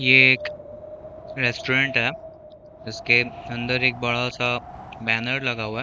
ये एक रेस्टुरेंट है जिसके अंदर एक बड़ा सा बैनर लगा हुआ है।